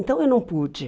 Então eu não pude.